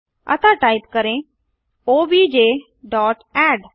अतः टाइप करेंobj dot add